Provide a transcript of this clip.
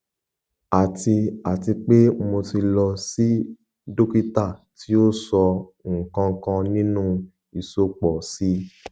ati ati pe mo ti lọ si dokita ti o sọ nkankan ninu isopọ si